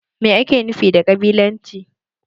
Mai ake nufi da ƙabilanci?